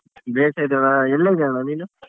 ಬೇಷ್ ಇದವಣ್ಣ ಎಲ್ಲಿದಿಯಣ್ಣ ನೀನು?